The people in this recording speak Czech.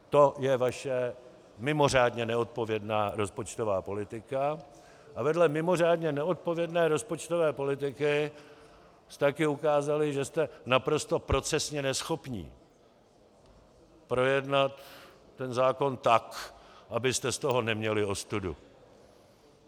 To je vaše mimořádně neodpovědná rozpočtová politika a vedle mimořádně neodpovědné rozpočtové politiky jste také ukázali, že jste naprosto procesně neschopní projednat ten zákon tak, abyste z toho neměli ostudu.